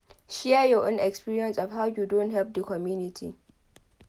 Share your own experience of how you don help di community